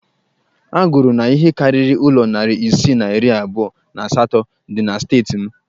A gụrụ na ihe karịrị ụlọ narị isii na iri abụọ na asatọ dị na steeti m